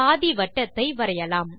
பாதிவட்டத்தை வரையலாம்